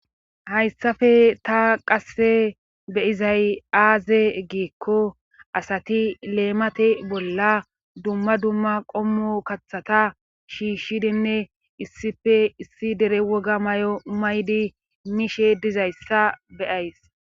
hayssafe ta qasse beizay aaze giikko asati leemate bolla dumma dumma qommo kathata shiishshidinne issife issi dere woga may7o maydi miishe dizayssa beyays